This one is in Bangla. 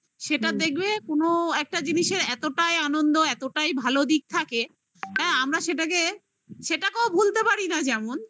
সেটা দেখবে কোনো একটা জিনিসের এতটাই আনন্দ এতটাই ভালো দিক থাকে হ্যাঁ আমরা সেটাকে সেটাকেও ভুলতে পারি না যেমন